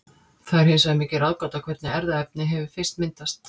Það er hins vegar mikil ráðgáta hvernig erfðaefni hefur fyrst myndast.